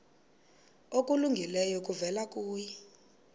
okulungileyo kuvela kuye